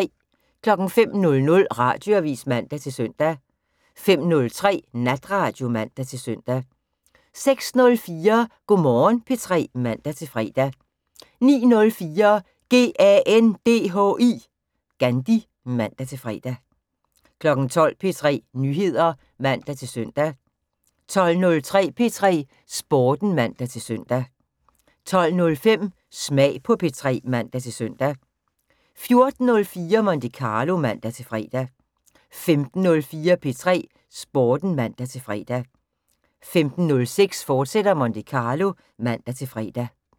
05:00: Radioavis (man-søn) 05:03: Natradio (man-søn) 06:04: Go' Morgen P3 (man-fre) 09:04: GANDHI (man-fre) 12:00: P3 Nyheder (man-søn) 12:03: P3 Sporten (man-søn) 12:05: Smag på P3 (man-søn) 14:04: Monte Carlo (man-fre) 15:04: P3 Sporten (man-fre) 15:06: Monte Carlo, fortsat (man-fre)